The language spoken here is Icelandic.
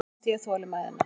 Þá missti ég þolinmæðina.